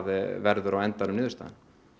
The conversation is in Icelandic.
verður á endanum niðurstaðan